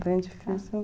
Bem difícil